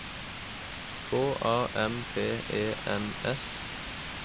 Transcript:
K A M P E N S